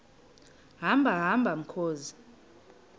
hamba hamba mkhozi